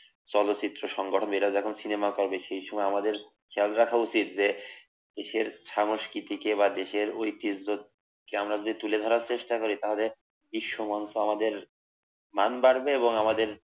চলচ্চিত্র সংগঠন এরা যখন সিনেমা করে এই সময় আমাদের খেয়াল রাখা উচিত যে দেশের সংস্কৃতিকে বা দেশের ঐতিহ্যকে দিয়ে তুলে ধরার চেষ্টা করে তাহলে বিশ্বমান আমাদের নাম ডাকবে এবং আমাদের